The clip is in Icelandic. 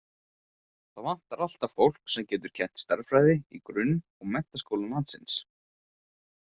Það vantar alltaf fólk sem getur kennt stærðfræði í grunn- og menntaskólum landsins.